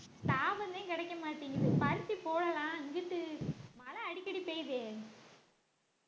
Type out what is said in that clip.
கிடைக்கமாட்டிங்குது பருத்தி போ`டலாம் இங்கிட்டு மழை அடிக்கடி பெய்யுதே